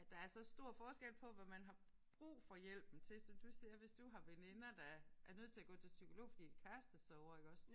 At der er så stor forskel på hvad man har brug for hjælpen til. Som du siger hvis du har veninder der er nødt til at gå til psykolog fordi de har kærestesorger iggås